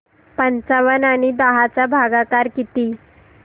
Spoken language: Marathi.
पंचावन्न आणि दहा चा भागाकार किती